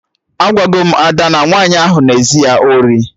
Agwago m Ada na nwaanyị ahụ na ezu ya ori